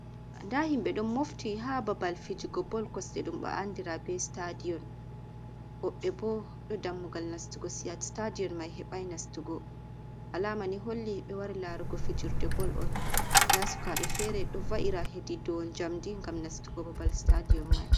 Nda himɓe ɗo mofti ha babal fijugo bol kosde ɗum ɓe andira be stadion. Woɓɓe bo ɗo dammugal nastugo siyat stadion mai heɓai nastugo. Alama ni holli ɓe wari larugo fijirde bol on. Nda sukaɓe fere ɗo va’ira hedi dou njamdi ngam nastugo babal stadion mai.